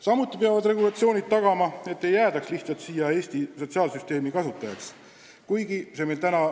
Samuti peavad regulatsioonid tagama, et ei jäädaks lihtsalt siia Eesti sotsiaalsüsteemi kasutajaks.